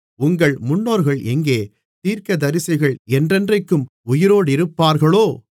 உங்கள் முன்னோர்கள் எங்கே தீர்க்கதரிசிகள் என்றென்றைக்கும் உயிரோடிருப்பார்களோ